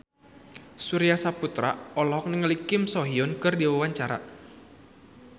Surya Saputra olohok ningali Kim So Hyun keur diwawancara